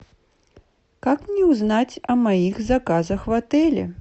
как мне узнать о моих заказах в отеле